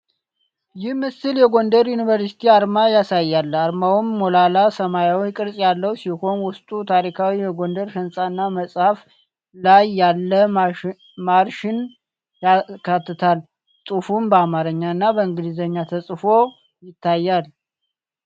ይህ ምስል የጎንደር ዩኒቨርሲቲን (University of Gondar) አርማ ያሳያል። አርማውም ሞላላ ሰማያዊ ቅርፅ ያለው ሲሆን፣ ውስጡ ታሪካዊ የጎንደር ሕንፃ እና መጽሐፍ ላይ ያለ ማርሽን ያካትታል። ጽሑፉም በአማርኛ እና በእንግሊዝኛ ተጽፎ ይታያል።